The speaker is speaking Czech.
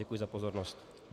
Děkuji za pozornost.